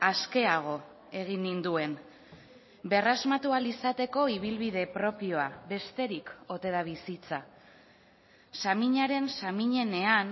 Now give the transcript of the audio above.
askeago egin ninduen berrasmatu ahal izateko ibilbide propioa besterik ote da bizitza saminaren saminenean